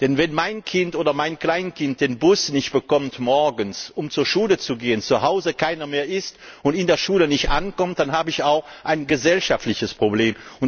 Denn wenn mein Kleinkind morgens den Bus nicht bekommt, um zur Schule zu fahren, zuhause keiner mehr ist, und es in der Schule nicht ankommt, dann habe ich auch ein gesellschaftliches Problem.